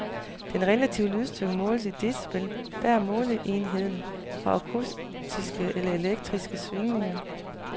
Den relative lydstyrke måles i decibel, der er måleenheden for akustiske eller elektriske svingninger.